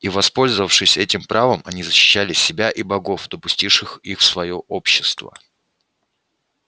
и воспользовавшись этим правом они защищали себя и богов допустивших их в своё общество